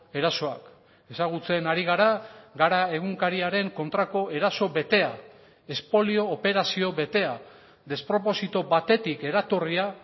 erasoak ezagutzen ari gara gara egunkariaren kontrako eraso betea espolio operazio betea desproposito batetik eratorria